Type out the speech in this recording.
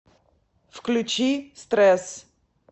включи стресс